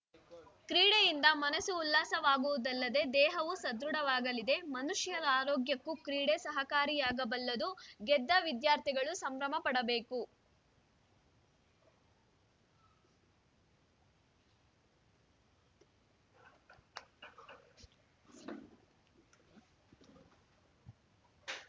ಕ್ರೀಡೆಯಿಂದ ಮನಸ್ಸು ಉಲ್ಲಾಸವಾಗುವುದಲ್ಲದೆ ದೇಹವು ಸದೃಡವಾಗಲಿದೆಮನುಷ್ಯರ ಆರೋಗ್ಯಕ್ಕೂ ಕ್ರೀಡೆ ಸಹಕಾರಿಯಾಗಬಲ್ಲದುಗೆದ್ದ ವಿದ್ಯಾರ್ಥಿಗಳು ಸಂಭ್ರಮಪಡಬೇಕು